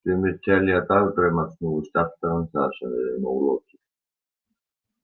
Sumir telja að dagdraumar snúist alltaf um það sem við eigum ólokið.